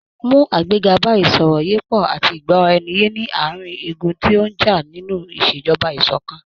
Mú àgbéga bá ìsọ̀rọ̀yépọ̀ àti ìgbọ́ra ẹni ye ní àárín igun tí ó ń já nínú iṣejọba ìṣọ̀kan.